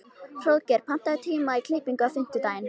Hróðgeir, pantaðu tíma í klippingu á fimmtudaginn.